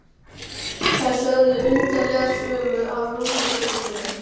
Þær sögðu undarlega sögu af rúllupylsunni.